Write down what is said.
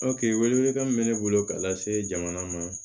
welekan min bɛ ne bolo ka lase jamana ma